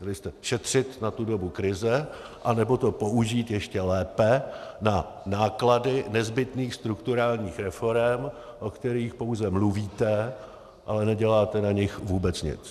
Měli jste šetřit na tu dobu krize, anebo to použít ještě lépe na náklady nezbytných strukturálních reforem, o kterých pouze mluvíte, ale neděláte na nich vůbec nic.